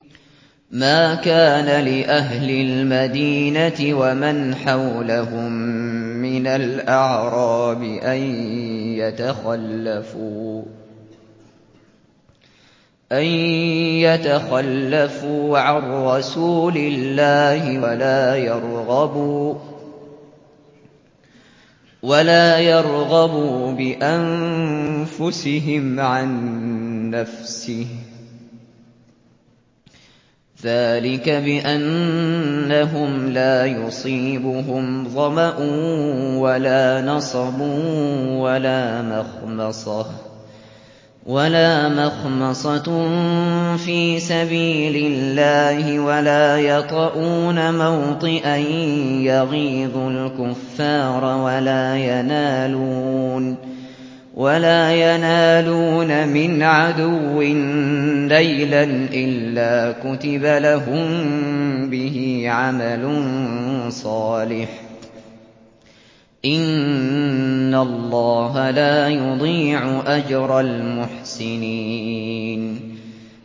مَا كَانَ لِأَهْلِ الْمَدِينَةِ وَمَنْ حَوْلَهُم مِّنَ الْأَعْرَابِ أَن يَتَخَلَّفُوا عَن رَّسُولِ اللَّهِ وَلَا يَرْغَبُوا بِأَنفُسِهِمْ عَن نَّفْسِهِ ۚ ذَٰلِكَ بِأَنَّهُمْ لَا يُصِيبُهُمْ ظَمَأٌ وَلَا نَصَبٌ وَلَا مَخْمَصَةٌ فِي سَبِيلِ اللَّهِ وَلَا يَطَئُونَ مَوْطِئًا يَغِيظُ الْكُفَّارَ وَلَا يَنَالُونَ مِنْ عَدُوٍّ نَّيْلًا إِلَّا كُتِبَ لَهُم بِهِ عَمَلٌ صَالِحٌ ۚ إِنَّ اللَّهَ لَا يُضِيعُ أَجْرَ الْمُحْسِنِينَ